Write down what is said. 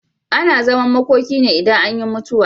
Ana zaman makoki ne idan anyi mutuwa.